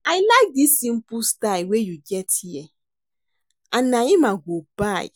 I like dis simple style wey you get here and na im I go buy